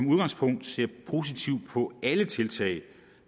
udgangspunktet ser positivt på alle tiltag